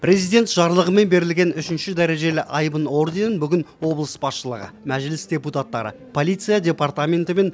президент жарлығымен берілген үшінші дәрежелі айбын орденін бүгін облыс басшылығы мәжіліс депутаттары полиция департаменті мен